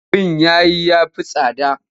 Abin yayi ya fi tsada.